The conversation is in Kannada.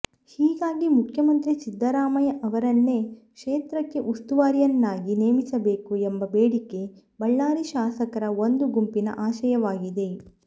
ಹೀಗಾಗಿ ಮುಖ್ಯಮಂತ್ರಿ ಸಿದ್ದರಾಮಯ್ಯ ಅವರನ್ನೇ ಕ್ಷೇತ್ರಕ್ಕೆ ಉಸ್ತುವಾರಿಯನ್ನಾಗಿ ನೇಮಿಸಬೇಕು ಎಂಬ ಬೇಡಿಕೆ ಬಳ್ಳಾರಿ ಶಾಸಕರ ಒಂದು ಗುಂಪಿನ ಆಶಯವಾಗಿದೆ